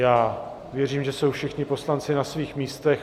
Já věřím, že jsou všichni poslanci na svých místech.